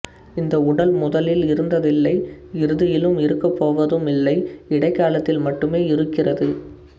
இந்த உடல் முதலில் இருந்ததில்லை இறுதியிலும் இருக்கப்போவதும் இல்லை இடைக்காலத்தில் மட்டுமே இருக்கிறது